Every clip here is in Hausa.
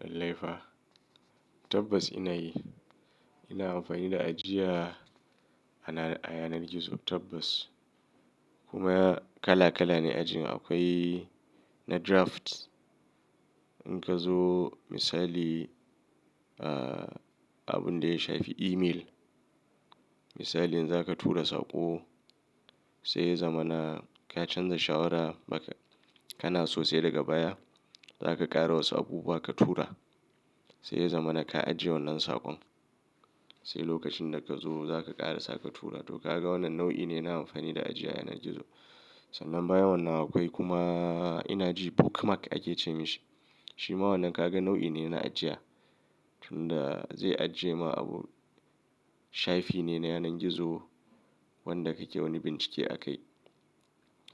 Lallai fa. Tabbas ina yi, ina amfani da ajiya a yanar gizo. Tabbas kuma kala kala ne ajiyan. Akwai na drafts in ka zo misali, ah abun da ya shafi email. Misali in zaka tura sako sai zamana ka canza shawara kana so sai daga baya zaka ƙara wasu abubuwa ka tura. Sai zamana ka ajiye wannan sakon sai lokacin da ka zo zaka ƙara saka tura. To kaga wannan nau'i ne ina amfani da ajiya yanar gizo. Sannan baya wannan akwai kuma ina ji bookmark ake ce mashi. Shi ma wannan kaga nau'i ne na ajiya tunda zai ajiye ma abu shafi ne na yanar gizo wanda kake wani bincike a kai.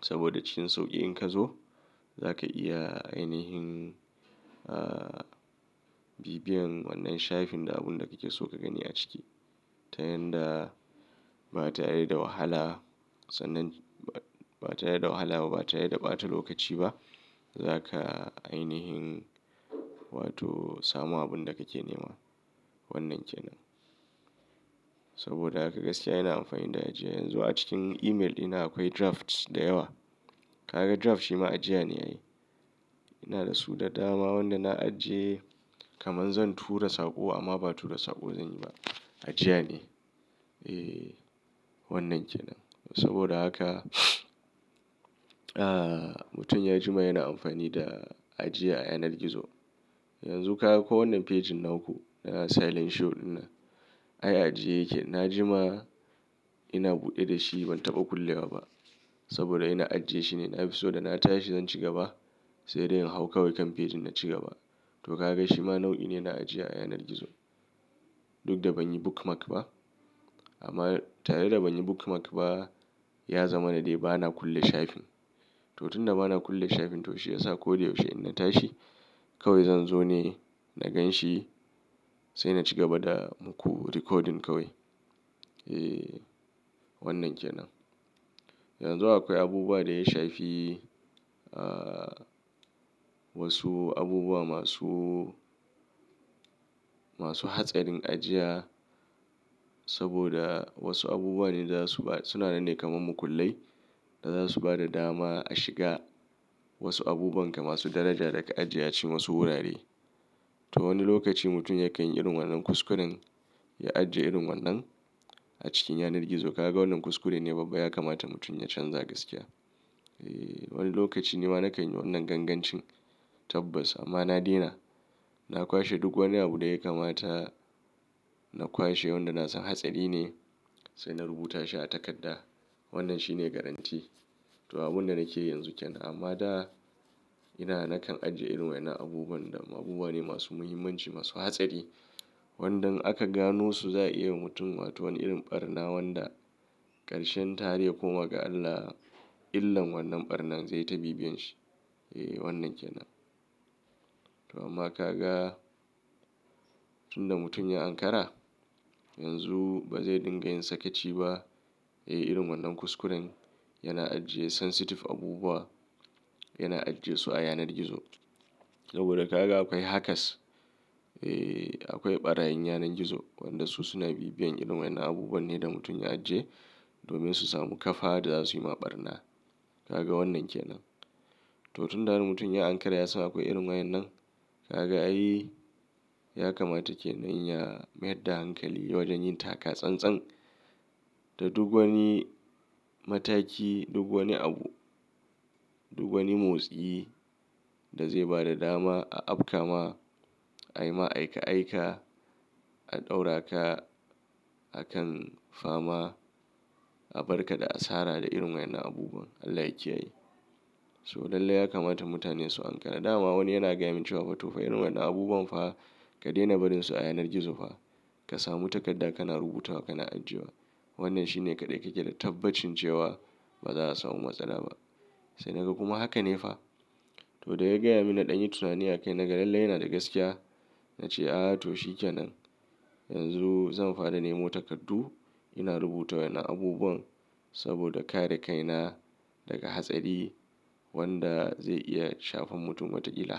Saboda cikin sauƙi in ka zo zaka iya ainihin bibiyan wannan shafin da abun da kake so ka gani a ciki. Ta yanda ba tayar da wahala sannan ba ba tayar da wahala ba ba tayar da ɓata lokaci ba. Zaka ainihin wato samu abun da kake nema. Wannan kenan. Saboda haka gaskiya ina amfani da ajiya. Yanzu a cikin email dina akwai drafts da yawa. Kaga draft shi ma ajiya ne ai. Ina da su da dama wanda na ajiye kaman zan tura sako amma ba tura sako zan yi ba. Ajiya ne. Eeh wannan kenan. Saboda haka mutum ya jima yana amfani da ajiya a yanar gizo. Yanzu ka ko wannan fejin naku na silent show dina. Ai ajiya yake. Na jima ina buɗe da shi ban taɓa kullewa ba saboda ina ajiye shi ne na fi so da na tashi zan ci gaba sai dai in hau kawai kan fejin na ci gaba. To kaga shi ma nau'i ne na ajiya a yanar gizo. Duk da banyi bookmark ba amma tare da banyi bookmark ba ya zamana dai bana kulle shafin. To tun da bana kulle shafin to shi yasa ko da yaushe in na tashi kawai zan zo ne na ganshi sai na ci gaba da muku recording kawai. Eeh wannan kenan. Yanzu akwai abubuwa da ya shafi wasu abubuwa masu, masu hatsarin ajiya saboda wasu abubuwa ne za su suna ne kaman makullai da za su bada dama a shiga wasu abubuwa kamar su daraja da ka ajiye su wasu wurare. To wani lokaci mutum yakan yi irin wannan kuskuren ya ajiye irin wannan a cikin yanar gizo. Kaga wannan kuskure ne babba ya kamata mutum ya canza gaskiya. Eeh wani lokaci ni ma na kanyi wannan gangancin tabbas amma na daina. Na kwashe duk wani abu da ya kamata na kwashe wanda na san hatsari ne sai na rubuta shi a takadda. Wannan shi ne garantti. To abun da nake yanzu kenan amma da ina nakan ajiye irin waɗannan abubuwan da abubuwa ne masu muhimmanci masu hatsari. Wanda in aka gano su za a iya yi wa mutum wato wani irin ɓarna wanda karshen tare koma ga Allah illan wannan ɓarna zai ta bibiyan shi. Eeh wannan kenan. To amma kaga tunda mutum ya ankara yanzu ba zai dinga yin sakaci ba. Eeh irin wannan kuskuren yana ajiye sensitive abubuwa yana ajiye su a yanar gizo. Saboda ka ga akwai hackers. Eeh akwai ɓarayin yanar gizo wadansu suna bibiyan irin waɗannan abubuwa ne da mutum ya ajiye domin su samu kafa da za su yi ma ɓarna. Kaga wannan kenan. To tun da har mutum ya ankara ya samu akwai irin wayen nan kaga ai ya kamata kenan ya mayar da hankali wajen yin taka tsantsan da duk wani mataki, duk wani abu, duk wani motsi da zai bada dama a abka ma, a yi ma aika aika, a ɗaura ka a kan fama, a barka da asara da irin waɗannan abubuwan. Allah ya kiyaye. To lallai ya kamata mutane su ankara. Dama wani yana gaya min cewa fa to fa irin waɗannan abubuwan fa ka daina barin su a yanar gizo fa. Ka samu takadda kana rubutawa kana ajiya. Wannan shi ne kaɗai kake da tabbacin cewa ba za a samu matsala ba. Sai naga kuma haka ne fa. To da ya gaya mini na ɗani tunani aka yi naga lallai yana da gaskiya. Na ce aah to shi kenan. Yanzu zan fara nemo takardu ina rubuta waɗannan abubuwan saboda kare kaina daga hatsari wanda zai iya shafa mutum mataki la.